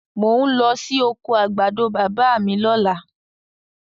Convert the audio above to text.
Mò ń lọ sí oko àgbàdo bàbá mi lọ́la.